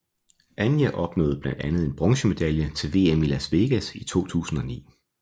Anja opnåede blandt andet en bronzemedalje til Vm i Las Vegas i 2009